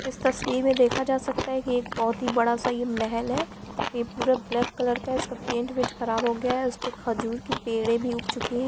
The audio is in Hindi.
इस तस्वीर में देखा जा सकता है कि एक बहोत बड़ा सा यह महल है यह पूरा ब्लैक कलर का है इसका पैंट वेंट खराब हो गया है इसपे खजूर की पेड़ भी उग चुकी है।